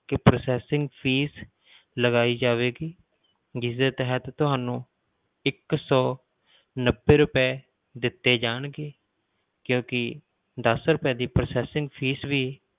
ਕਿ processing fees ਲਗਾਈ ਜਾਵੇਗੀ ਜਿਸ ਦੇ ਤਹਿਤ ਤੁਹਾਨੂੰ ਇੱਕ ਸੌ ਨੱਬੇ ਰੁਪਏ ਦਿੱਤੇ ਜਾਣਗੇ ਕਿਉਂਕਿ ਦਸ ਰੁਪਏ ਦੀ processing fees ਵੀ